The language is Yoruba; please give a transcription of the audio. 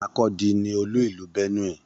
Makurdi ní olú ìlú Benue.